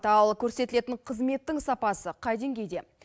ал көрсетілетін қызметтің сапасы қай деңгейде